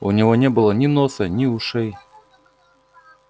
у него не было ни носа ни ушей